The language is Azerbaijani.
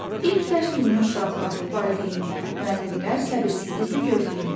İlk dərs gününü uşaqlar, valideynlər, müəllimlər səbirsizliklə gözləyirlər.